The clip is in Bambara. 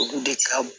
Olu de ka bon